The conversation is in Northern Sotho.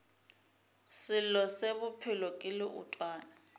selo se bophelo ke leotwana